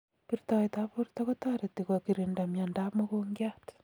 Birtoet ab borto kotareti ko kirinda miondo ab mogongiat